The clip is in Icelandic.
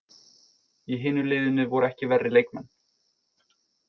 Í hinu liðinu voru ekki verri leikmenn!